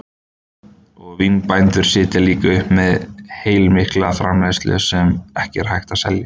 Og vínbændur sitja líka uppi með heilmikla framleiðslu sem ekki er hægt að selja.